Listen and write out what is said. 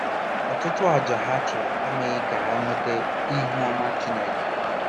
Ọtụtụ àjà ha chụrụ emeghị ka ha nweta ihu ọma Chineke.